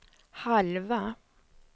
halva